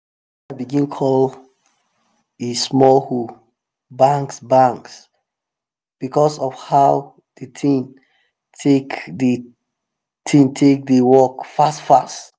my broda begin call e small hoe "bangs bangs" because of how the thing take dey thing take dey work fast fast.